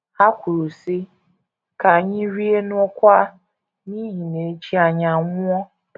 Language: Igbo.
Ha kwuru, sị: “ Ka anyị rie ṅụọkwa, n’ihi na echi anyị anwụọ. ”